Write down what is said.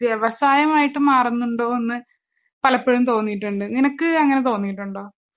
വ്യവസായമായിട്ട്മാറുന്നുണ്ടോഎന്ന് പലപ്പൊഴുംതോന്നീട്ടുണ്ട്. നിനക്ക് അങ്ങനെ തോന്നീട്ടുണ്ടോ?